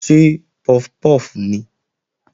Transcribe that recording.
Ṣé puff puff nìí?